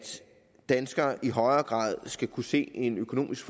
danskere i højere grad skal kunne se en økonomisk